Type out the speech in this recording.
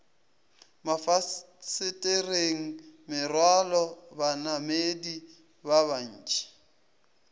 mafasetereng merwalo banamedi ba bantši